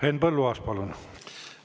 Henn Põlluaas, palun!